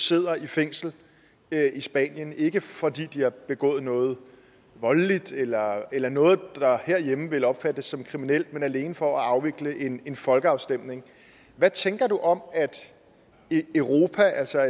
sidder i fængsel i spanien ikke fordi de har begået noget voldeligt eller eller noget der herhjemme ville opfattes som kriminelt men alene for at afvikle en en folkeafstemning hvad tænker du om at europa altså